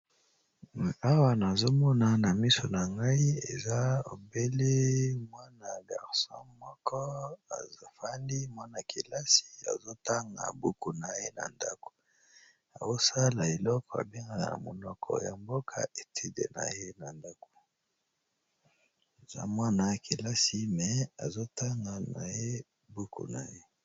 Awa nazomona na miso na ngai eza obele mwana ya garso moko azofali mwana -kelasi azotanga buku na ye na ndako aosala eloko abengaa na monoko ya mboka etide na ye na ndako aza mwana ya kelasi me azotanga na ye buku na ye.